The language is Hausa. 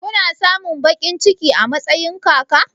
Kuna samun baƙin ciki a matsayin kaka?